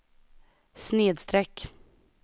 snedsträck